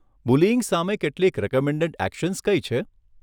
Bullying સામે કેટલીક recommended actions કઈ છે?